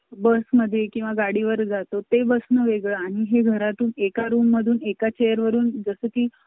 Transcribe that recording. बस मध्ये किंवा गाडीवर जातो ते बस णं वेगळं आणि हे घरातून एका रूम मधून एका चेअर वरून जसं की